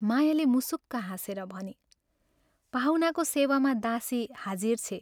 मायाले मुसुक्क हाँसेर भनी, "पाहुनाको सेवामा दासी हाजिर छे।